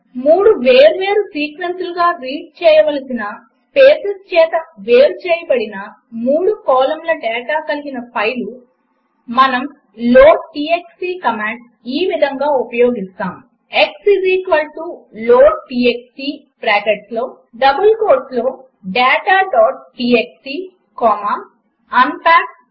3 వేర్వేరు సీక్వెన్సులుగా రీడ్ చేయవలసిన స్పేసెస్ చేత వేరు చేయబడిన మూడు కాలమ్ల డాటా కలిగిన ఫైలు మనము లోడ్టీఎక్స్టీ కమాండ్ ఈ విధంగా ఉపయోగిస్తాము బ్రాకెట్స్లో x లోడ్టీఎక్స్టీ డబుల్ కోట్స్లో dataటీఎక్స్టీ కొమ్మ unpackTrue 3